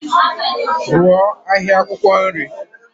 Rụọ ahịa akwụkwọ nri.